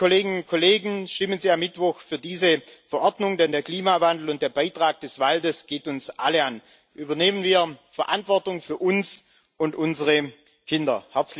Liebe Kolleginnen und Kollegen, stimmen Sie am Mittwoch für diese Verordnung, denn der Klimawandel und der Beitrag des Waldes gehen uns alle an. Übernehmen wir Verantwortung für uns und unsere Kinder.